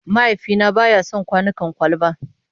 Mahaifina ba ya son kwanukan kwalba.